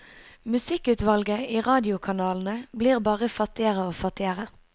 Musikkutvalget i radiokanalene blir bare fattigere og fattigere.